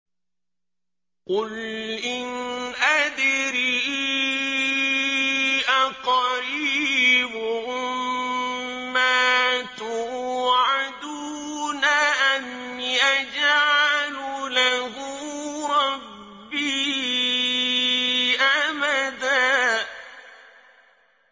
قُلْ إِنْ أَدْرِي أَقَرِيبٌ مَّا تُوعَدُونَ أَمْ يَجْعَلُ لَهُ رَبِّي أَمَدًا